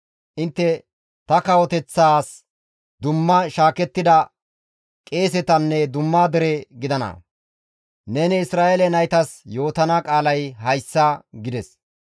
intte ta kawoteththaas dumma shaakettida qeesetanne dumma dere gidana;› Neni Isra7eele naytas yootana qaalay hayssa» gides.